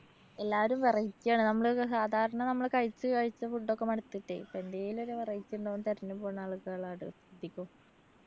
എല്ലാരും variety ആണ്. നമ്മള് സാധാരണ നമ്മള് കഴിച്ച് കഴിച്ച food ഒക്കെ മടുത്തിട്ടെ എന്തേലൊരു variety ഉണ്ടോന്ന് തെരഞ്ഞുപോണ ആളുകളാ അധികം.